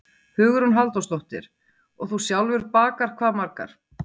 Hugrún Halldórsdóttir: Og þú sjálfur bakar hvað margar?